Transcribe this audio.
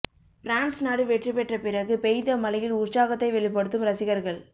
France நாடு வெற்றி பெற்ற பிறகு பெய்த மழையில் உற்சாகத்தை வெளிபடுத்தும் ரசிகர்கள்